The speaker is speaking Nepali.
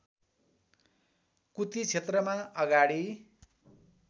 कुती क्षेत्रमा अगाडि